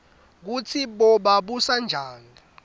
kutsi boba babusanjani